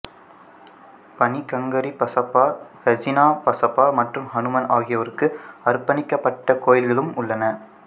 பனிகங்கரி பசப்பா கஜினா பசப்பா மற்றும் அனுமன் ஆகியோருக்கு அர்ப்பணிக்கப்பட்ட கோயில்களும் உள்ளன